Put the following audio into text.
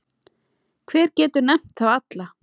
Hver getur nefnt þá alla?